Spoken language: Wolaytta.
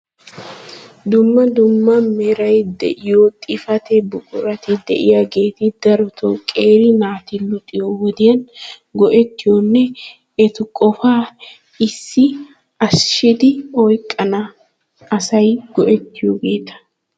Dumma dumma meray de'iyo xifate buqurati de'iyaageeti darotoo qeeri naati luxiyo wodiyan go"ettiyonne eta qofa issis ashiishshidi oyqqana asay go"ettiyoogeeta.